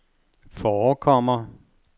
forekommer